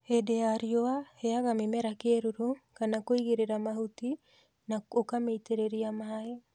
Hende ya riũa, heaga mĩmera kĩĩruru kana kũigĩrĩra mahũti na ũkamĩitĩrĩria maĩ.